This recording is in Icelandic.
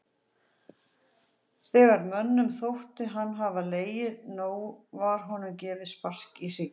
Þegar mönnum þótti hann hafa legið nóg var honum gefið spark í hrygginn.